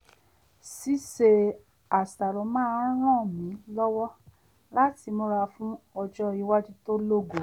ṣíṣe àṣàrò máa ń ràn mí lọ́wọ́ láti múra fún ọ́jọ́ iwájú tó lógo